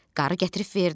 Qarı gətirib verdi.